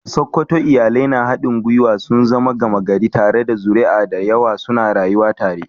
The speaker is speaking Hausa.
A Sokoto, iyalai na haɗin gwiwa sun zama gama gari, tare da zuri'a da yawa suna rayuwa tare.